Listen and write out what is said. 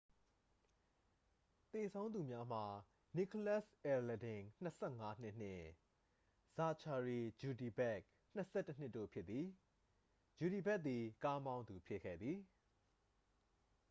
သေဆုံးသူများမှာ နီကိုလတ်စ် အဲလဒင် 25 နှစ်နှင့် ဇာချာရီ ကျူဒီဘက် 21 နှစ်တို့ဖြစ်သည် ကျူဒီဘက်သည် ကားမောင်းသူဖြစ်ခဲ့သည်